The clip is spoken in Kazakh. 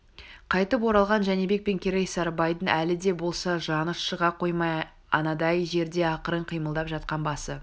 қайтып оралған жәнібек пен керей сарыбайдың әлі де болса жаны шыға қоймай анадай жерде ақырын қимылдап жатқан басы